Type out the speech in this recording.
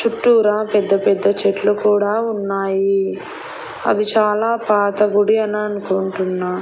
చుట్టూరా పెద్ద పెద్ద చెట్లు కూడా ఉన్నాయి అవి చాలా పాత గుడి అని అనుకుంటున్నా.